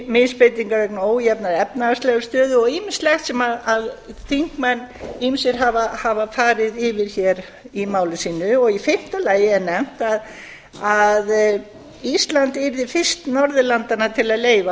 misbeitingu vegna ójafnrar efnahagslegrar stöðu og ýmislegt sem ýmsir þingmenn hafa farið yfir hér í máli sínu í fimmta lagi er nefnt að ísland yrði fyrst norðurlandanna til að leyfa